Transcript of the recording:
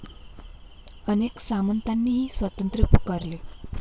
अनेक सामंतांनीही स्वातंत्र्य पुकारले.